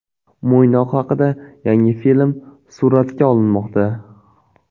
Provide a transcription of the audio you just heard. Mo‘ynoq haqida yangi film suratga olinmoqda.